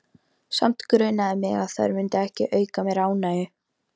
Samt grunaði mig að þær myndu ekki auka mér ánægju.